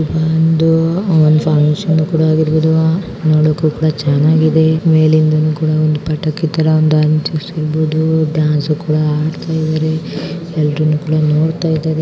ಒಂದು ಫಂಕ್ಷನ್ ಕೂಡ ಆಗಿರಬಹುದು ನೋಡಕ್ಕೂ ಕೂಡ ಚೆನ್ನಾಗಿದೆ ಮೇಲೆ ಒಂದು ಪಟ್ಟಾಕಿ ತಾರಾ ಅಂಟಿರಬಹುದು ಡಾನ್ಸ್ ಕೂಡ ಆಡ್ತಾ ಇದ್ದಾರೆ .ಎಲ್ಲಾರೂನು ಕೂಡಾ ನೋಡ್ತಾ ಇದ್ದಾರೆ .